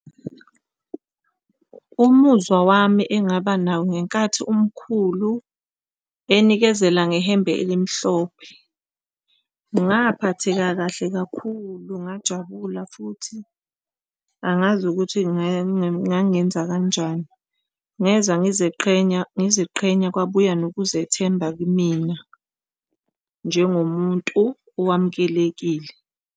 Umuzwa wami engaba nawo ngenkathi umkhulu enikezela ngehembe elimhlophe. Ngaphatheka kahle kakhulu, ngajabula futhi angazi ukuthi ngangenza kanjani ngezwa ngizeqhenya, ngiziqhenya kwabuya nokuzethemba kimina njengomuntu owamukelekile.